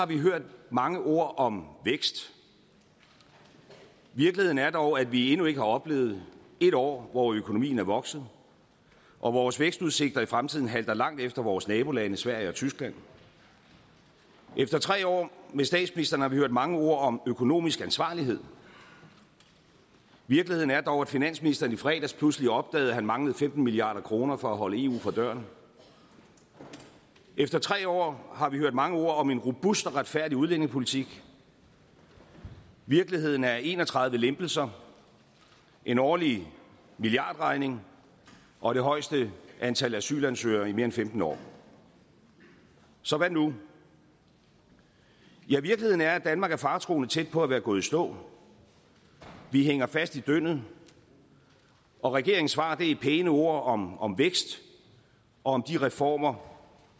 vi hørt mange ord om vækst virkeligheden er dog at vi endnu ikke har oplevet ét år hvor økonomien er vokset og vores vækstudsigter i fremtiden halter langt efter vores nabolande sverige og tyskland efter tre år med statsministeren har vi hørt mange ord om økonomisk ansvarlighed virkeligheden er dog at finansministeren i fredags pludselig opdagede at han manglede femten milliard kroner for at holde eu fra døren efter tre år har vi hørt mange ord om en robust og retfærdig udlændingepolitik virkeligheden er en og tredive lempelser en årlig milliardregning og det højeste antal asylansøgere i mere end femten år så hvad nu virkeligheden er at danmark er faretruende tæt på at være gået i stå vi hænger fast i dyndet og regeringens svar er pæne ord om om vækst og om de reformer